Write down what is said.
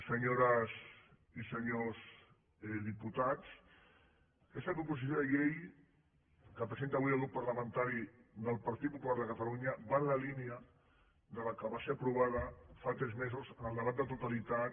senyores i senyors diputats aquesta proposició de llei que presenta avui el grup parlamentari del partit popular de catalunya va en la línia de la que va ser aprovada fa tres mesos en el debat de totalitat